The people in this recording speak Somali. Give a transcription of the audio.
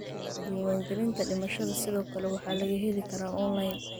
Diiwaangelinta dhimashada sidoo kale waxaa laga heli karaa onlayn.